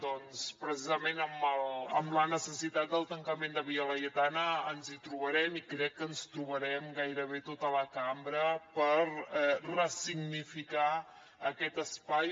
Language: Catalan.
doncs precisament amb la necessitat del tancament de via laietana ens hi trobarem i crec que ens trobarem gairebé tota la cambra per ressignificar aquest espai